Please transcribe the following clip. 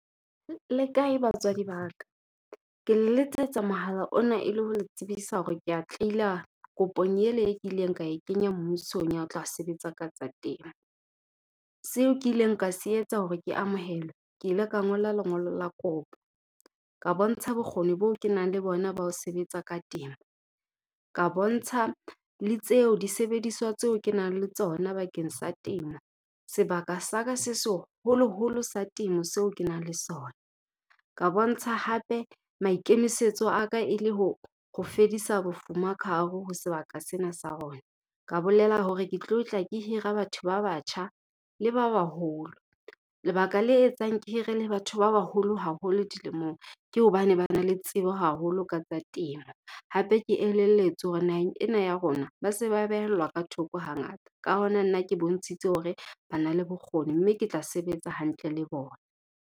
Le kae batswadi ba ka? Ke le letsetsa mohala ona e le ho le tsebisa hore ke a kopong ele e kileng ka e kenya mmusong ya ho tla sebetsa ka tsa temo. Seo ke ileng ka se etsa hore ke amohelwe, ke ile ka ngola lengolo la kopo ka bontsha bokgoni boo ke nang le bona ba ho sebetsa ka temo, ka bontsha le tseo, disebediswa tseo ke nang le tsona bakeng sa temo. Sebaka sa ka se seholoholo sa temo seo ke nang le sona, ka bontsha hape maikemisetso a ka e le ho fedisa bofuma ka hare ho sebaka sena sa rona. Ka bolela hore ke tlo tla ke hira batho ba batjha le ba baholo. Lebaka le etsang ke hire le batho ba baholo haholo dilemong, ke hobane ba na le tsebo haholo ka tsa temo hape ke elelletswe hore naheng ena ya rona ba se ba behellwa ka thoko hangata. Ka hona nna ke bontshitse hore bana le bokgoni mme ke tla sebetsa hantle le bona.